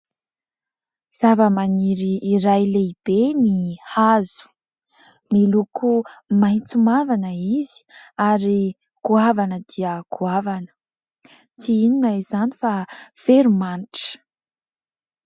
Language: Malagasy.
Zavamaniry iray lehibe ny hazo, miloko maitso mavana izy ary goavana dia goavana, tsy inona izany fa veromanitra.